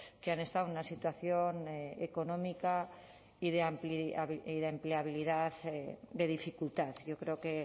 que han estado en una situación económica y de empleabilidad de dificultad yo creo que